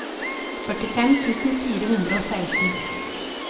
førtifem tusen fire hundre og seksten